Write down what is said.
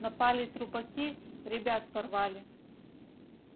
напали трупаки ребят порвали